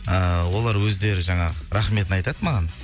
ыыы олар өздері жаңағы рахметін айтады маған